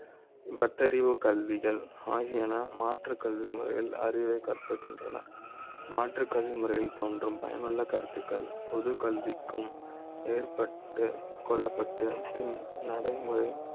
பட்டறிவு கல்விகள் ஆகியன மாற்றுக் கல்வி முறையில் அறிவை கற்பிக்கின்றன மாற்றுக் கல்விமுறை யில் தோன்றும் பயன் உள்ள, கருத்துக்கள், பொதுக்கல்விக்கும் ஏற்ப்பட் கொள்ள ப்பட்டு பின் நடைமுறை